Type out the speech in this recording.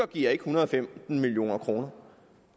giver en hundrede og femten million kroner